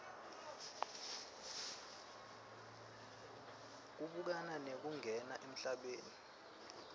kubukana nekungena emhlabeni